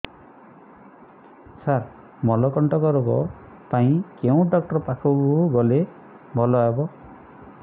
ସାର ମଳକଣ୍ଟକ ରୋଗ ପାଇଁ କେଉଁ ଡକ୍ଟର ପାଖକୁ ଗଲେ ଭଲ ହେବ